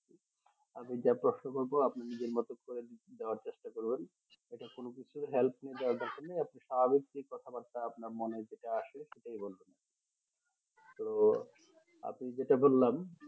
আমি যা প্রশ্ন করবো আপনি নিজের মতো করে দেওয়ার চেষ্টা করবেন এটা কোনো কিছু help নোয়ার দরকার নাই আপনি স্বাভাবিক যেই কথা বাত্রা আপনার মনে যেটা আসে সেটাই বলবেন আরকি তো আপনি যেটা বলেন